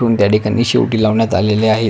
त्या ठिकाणी शेवटी लावण्यात आलेली आहेत.